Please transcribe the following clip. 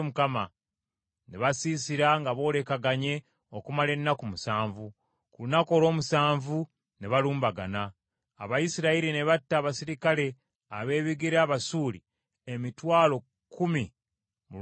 Ne basiisira nga boolekaganye okumala ennaku musanvu, ku lunaku olw’omusanvu ne balumbagana. Abayisirayiri ne batta abaserikale ab’ebigere Abasuuli emitwalo kkumi mu lunaku lumu.